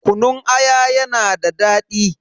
Kunun aya yana da daɗi.